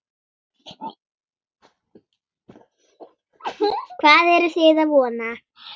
Hvað eruð þið að vona?